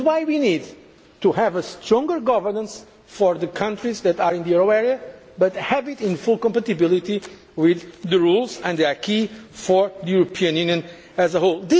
policies. That is why we need to have stronger governance for the countries that are in the euro area, but to have it in full compatibility with the rules and the acquis for the European